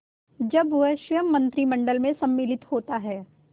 जब वह स्वयं मंत्रिमंडल में सम्मिलित होता है